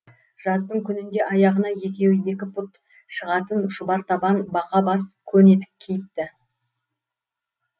жаздың күнінде аяғына екеуі екі пұт шығатын шұбар табан бақа бас көн етік киіпті